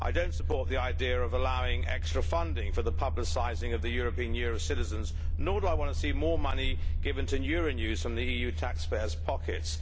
I do not support the idea of allowing extra funding for the publicising of the European Year of Citizens nor do I want to see more money given to Euronews from the EU taxpayers' pockets.